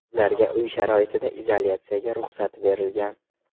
Ularga uy sharoitida izolyatsiyaga ruxsat berilgan.